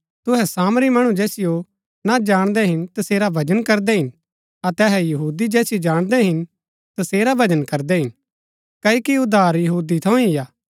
तुहै सामरी मणु जैसियो ना जाणदै हिन तसेरा भजन करदै हिन अतै अहै यहूदी जैसियो जाणदै हिन तसेरा भजन करदै हिन क्ओकि उद्धार यहूदी थऊँ ही हा